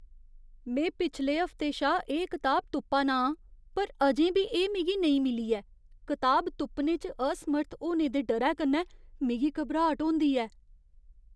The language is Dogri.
में पिछले हफ्ते शा एह् कताब तुप्पा ना आं पर अजें बी एह् मिगी नेईं मिली ऐ। कताब तुप्पने च असमर्थ होने दे डरै कन्नै मिगी घबराट होंदी ऐ।